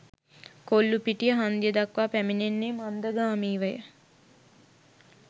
කොල්ලූපිටිය හන්දිය දක්වා පැමිණෙන්නේ මන්දගාමීවය.